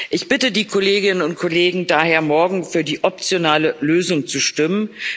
Ich bitte die Kolleginnen und Kollegen daher, morgen für die optionale Lösung zu stimmen.